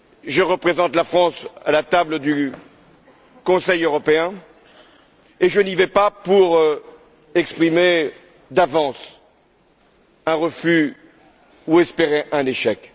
Je représente la France à la table du Conseil européen et je n'y vais pas pour exprimer d'avance un refus ou espérer un échec.